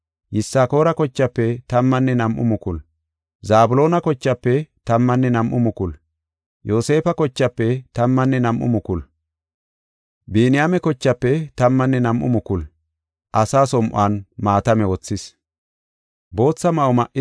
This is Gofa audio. Zabloona kochaafe tammanne nam7u mukulu, Yoosefa kochaafe tammanne nam7u mukulu, Biniyaame kochaafe tammanne nam7u mukulu, asaa som7on maatame wothis.